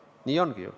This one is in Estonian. Nii ongi ju.